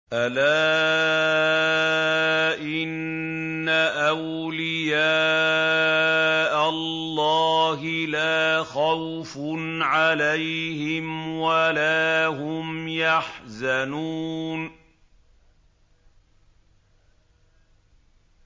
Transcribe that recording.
أَلَا إِنَّ أَوْلِيَاءَ اللَّهِ لَا خَوْفٌ عَلَيْهِمْ وَلَا هُمْ يَحْزَنُونَ